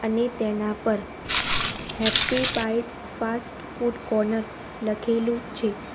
ને તેના પર happy bites fast food corner લખેલું છે.